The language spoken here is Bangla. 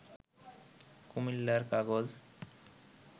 কুমিল্লার কাগজ